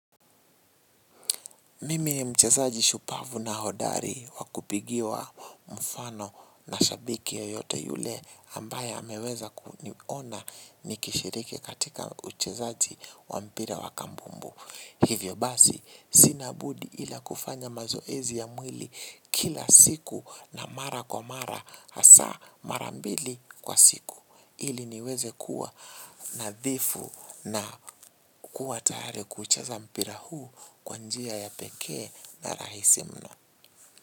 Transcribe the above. Mimi ni mchezaji shupavu na hodari wakupigiwa mfano na shabiki yeyote yule ambaye ameweza kuniona nikishiriki katika uchezaji wa mpira wa kambumbu. Hivyo basi, sinabudi ila kufanya mazoezi ya mwili kila siku na mara kwa mara, hasaa marambili kwa siku. Ili niweze kuwa nadhifu na kuwa tayari kuucheza mpira huu kwa njia ya pekee na rahisi mno.